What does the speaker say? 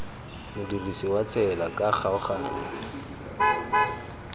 modirisi wa tsela ka kgaoganyo